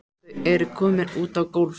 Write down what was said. Þau eru komin út á gólf.